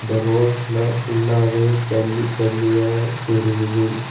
ரோட்ல ஃபுல்லாவே ஜல்லி ஜல்லியா தெரியுது.